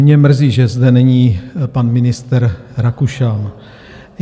Mě mrzí, že zde není pan ministr Rakušan.